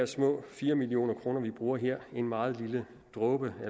små fire million kr vi bruger her en meget lille dråbe og